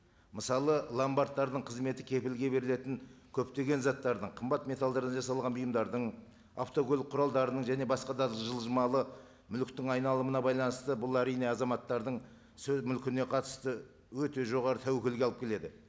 мысалы ломбардтардың қызметі кепілге берілетін көптеген заттардың қымбат металдардан жасалған бұйымдардың автокөлік құралдарының және басқа да жылжымалы мүліктің айналымына байланысты бұл әрине азаматтардың мүлкіне қатысты өте жоғары тәуекелге алып келеді